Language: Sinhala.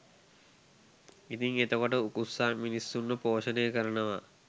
ඉතිං එතකොට උකුස්සා මිනිස්සුන්ව පෝෂණය කරනවා